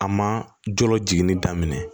A ma jɔlɔ jiginni daminɛ